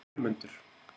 Vermundur